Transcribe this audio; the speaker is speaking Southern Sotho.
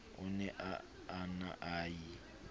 o ne a na ie